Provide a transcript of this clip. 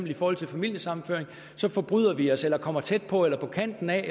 i forhold til familiesammenføring så forbryder vi os mod eller kommer tæt på eller på kanten af